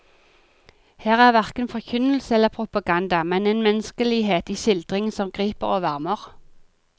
Her er hverken forkynnelse eller propaganda, men en menneskelighet i skildringen som griper og varmer.